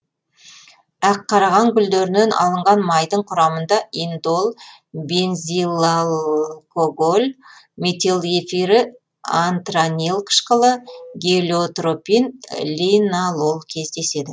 аққараған гүлдерінен алынған майдың құрамында индол бензилалкоголь метил эфирі антранил қышқылы гелиотропин линалол кездеседі